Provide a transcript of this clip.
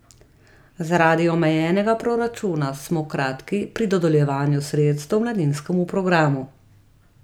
Zaradi omejenega proračuna smo kratki pri dodeljevanju sredstev mladinskemu programu.